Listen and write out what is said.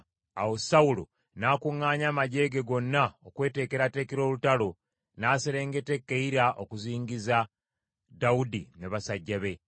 Awo Sawulo n’akuŋŋaanya amaggye ge gonna okweteekerateekera olutalo, n’aserengeta e Keyira okuzingiza Dawudi ne basajja be.